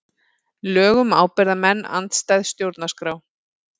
Lög um ábyrgðarmenn andstæð stjórnarskrá